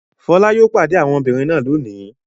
Fọlá yóò pade àwọn ọmọbìnrin náà lónìí!